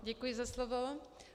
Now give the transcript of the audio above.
Děkuji za slovo.